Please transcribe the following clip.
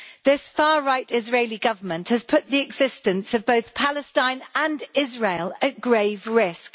This far right Israeli Government has put the existence of both Palestine and Israel at grave risk.